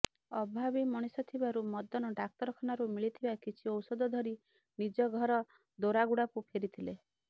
ଅଭାବୀ ମଣିଷ ଥିବାରୁ ମଦନ ଡାକ୍ତରଖାନାରୁ ମିଳିଥିବା କିଛି ଔଷଧ ଧରି ନିଜ ଘର ଦୋରାଗୁଡ଼ାକୁ ଫେରିଥିଲେ